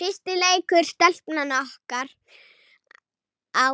Fyrsti leikur Stelpnanna okkar á